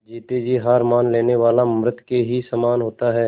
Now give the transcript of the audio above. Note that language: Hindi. जीते जी हार मान लेने वाला मृत के ही समान होता है